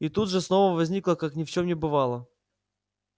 и тут же снова возникла как ни в чем не бывало